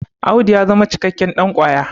Audu ya zama cikakken ɗankwaya